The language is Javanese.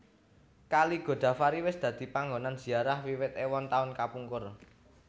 Kali Godavari wis dadi panggonan ziarah wiwit èwon taun kapungkur